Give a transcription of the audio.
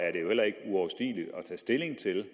tage stilling til